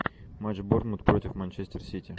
матч борнмут против манчестер сити